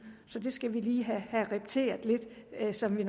så det skal vi lige have repeteret lidt som vi